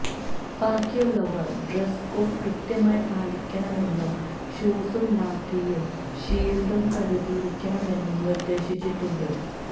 ബാക്കിയുള്ളവര് dress code കൃത്യമായി പാലിക്കണമെന്നും ഷൂസും ലാത്തിയും ഷീല്ഡും കരുതിയിരിക്കണമെന്നും നിര്ദേശിച്ചിട്ടുണ്ട്